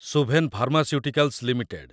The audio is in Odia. Suven pharmaceuticals limited